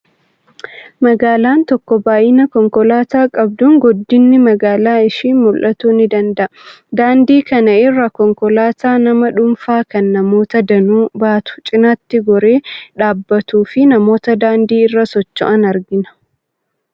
Magaalaan tokko baay'ina konkolaataa qabduun guddinni magaalaa ishii murtaa'uu ni danda'a. Daandii kana irra konkolaataa nama dhuunfaa, kan namoota danuu baatu cinaatti goree dhaabbatuu fi namoota daandii irra socho'an argina.